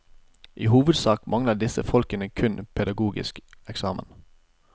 I hovedsak mangler disse folkene kun pedagogisk eksamen.